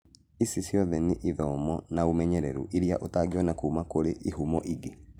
Ici ciothe n ithomo na ũmenyeru iria ũtangĩona kuma kũrĩ ihumo ingĩ